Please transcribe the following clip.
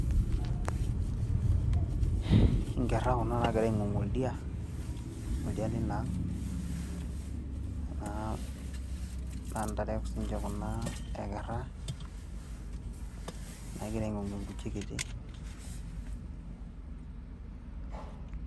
Hmm, inkera kuna nagira aingongu oldia ,oldia lina ang , naa ntare sininche kuna e kerra naagira ingongu enkuchi kiti .